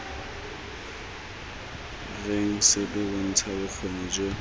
reng sepe bontsha bokgoni jo